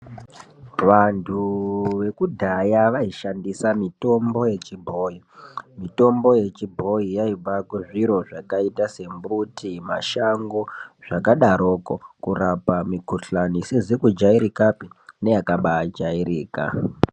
Vantu vekudhaya vaishandisa mitombo yechibhoyi mitombo yechibhoyi yaibva kuzviro zvakaita sembuti mashango zvakadaroko kurapa mikuhlani isizi kujairikapi neyakaba jairika.